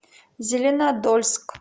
зеленодольск